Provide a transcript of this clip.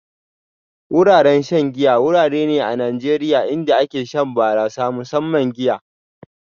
Wuraren shan giya wurare ne a Najeriya inda ake shan barasa, musamman giya